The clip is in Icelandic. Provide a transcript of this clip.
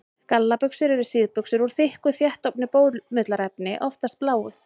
Gallabuxur eru síðbuxur úr þykku, þéttofnu bómullarefni, oftast bláu.